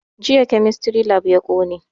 Jiya kemistry lab ya ƙone